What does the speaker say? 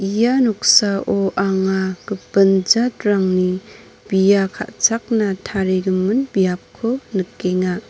ia noksao anga gipin jatrangni bia ka·chakna tarigimin biapko nikenga.